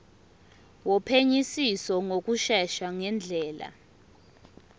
wophenyisiso ngokushesha ngendlela